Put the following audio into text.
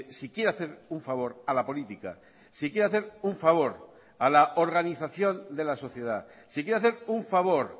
si quiere hacer un favor a la política si quiere hacer un favor a la organización de la sociedad si quiere hacer un favor